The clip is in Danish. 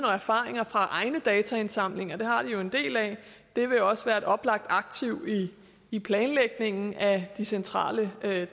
og erfaring med egne dataindsamlinger for dem har de jo en del af det vil også være et oplagt aktiv i i planlægningen af de centrale